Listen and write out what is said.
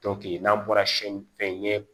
n'an bɔra si ɲɛ